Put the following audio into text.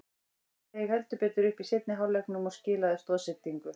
Steig heldur betur upp í seinni hálfleiknum og skilaði stoðsendingu.